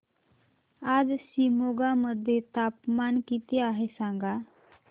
आज शिमोगा मध्ये तापमान किती आहे सांगा